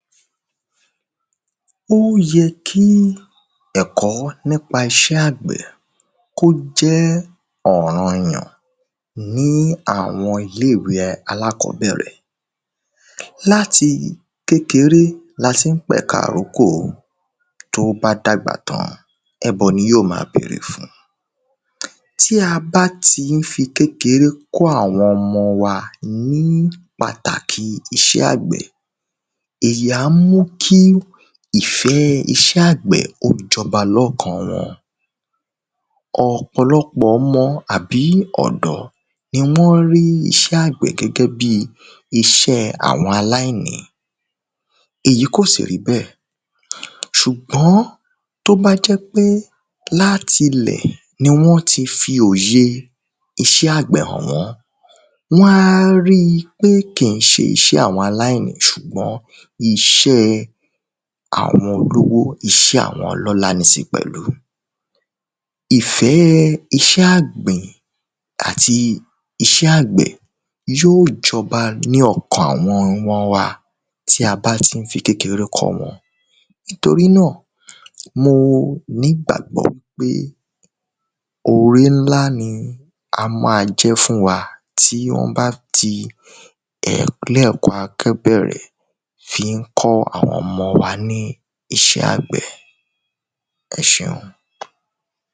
ó yẹ kí ẹ̀kọ́ nípa isẹ́ àgbẹ̀ kó jẹ́ ọ̀ranyàn ní àwọn ilé ìwé alákọ̀ọ́bẹ̀rẹ̀, láti kékeré la tín pẹ̀ka ìrókò, tó bá dàgbà tán, ẹbọ ni yó ma bèrè fún, tí a bá tí n fi kékeré kọ́ àwọn ọmọ wa ní pàtàkì isẹ́ àgbẹ̀, èyí á mú kí ìfẹ́ ẹ isẹ́ àgbẹ̀ kó jọba lọ́kàn-an wọn. ọ̀pọ̀lọpọ̀ ọmọ àbí ọ̀dọ́ ni wọ́n rí isẹ́ àgbẹ̀ gẹ́gẹ́ bi isé àwọn aláìní, èyí kò sì rí bẹ̀ sùgbọ́n tó bá jẹ́ wípé láti ilẹ̀ ni wọ́n ti fi òye isẹ́ àgbẹ̀ hàn wọ́n, wọ́n á ri pé kì ín se isẹ́ àwọn aláìní sùgbọ́n isẹ́ àwọn olówó, isẹ́ àwọn ọlọ́lá ni sì pẹ̀lú, ìfẹ́ isẹ́ ọ̀gbìn àti isẹ́ àgbẹ̀ yóò jọba ní ọkàn àwọn ọmọ wa tí a bá n tí fi kékeré kọ́ wọn, torí nà, mo ní ìgbàgbọ́ pé oré nlá ni á ma jẹ́ fún wa tí wọ́n bá ti, ilé-ẹ̀kọ́ àkọ́bẹ̀rẹ̀ fi n kọ́ àwọn ọmọ wa ní isẹ́ àgbẹ̀ ẹseun.